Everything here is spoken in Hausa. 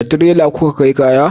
da tirela ku ka kai kaya?